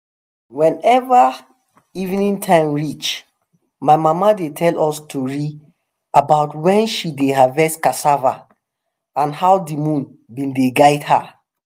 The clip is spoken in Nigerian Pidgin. whenever evening time reach my mama dey tell us tori about when she dey harvest cassava and how de moon been dey guide her